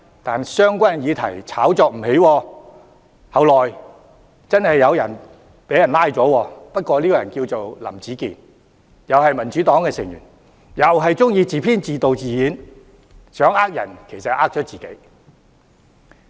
但相關議題炒作不起，而後來確實有人被捕，但那個人叫林子健，同屬民主黨成員，同樣喜歡自編、自導、自演，想騙人其實騙了自己。